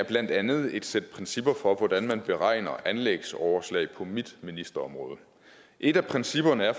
er blandt andet et sæt principper for hvordan man beregner anlægsoverslag på mit ministerområde et af principperne